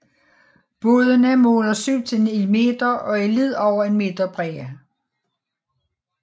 Bådene måler 7 til 9 meter og er lidt over en meter brede